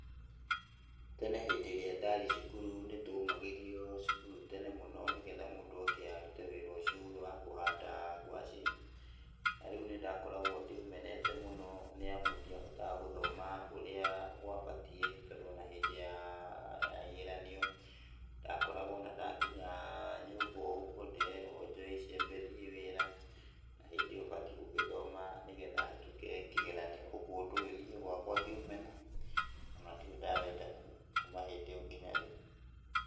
Tene hĩndĩ ĩrĩa ndari cukuru nĩ twaumagĩrio cukuru tene mũno nĩgetha mũndũ oke arute wĩra ũcio, ũyũ wa kũhanda ngwacĩ, na rĩu nĩ ndakoragwo ndĩũmenete mũno, nĩ amu ndiahotaga gũthoma ũrĩa gwabatiĩ tondũ ona hĩndĩ ya, ya igeranio, ndakoragwo ona ndakonya nyũmba o ũguo, ndĩrerwo njoe icembe thiĩ wĩra, na hĩndĩ ĩyo batiĩ gũthoma nĩgetha hĩtũke kĩgeranio. Ũguo ũndũ ũyũ niĩ gwakwa ngĩũmena, ona ndĩrĩ ndawenda kũma hĩndĩ ĩyo nginya rĩu.